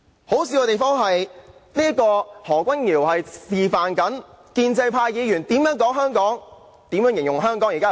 可笑的是，何君堯議員剛才示範了建制派議員如何形容香港有多好。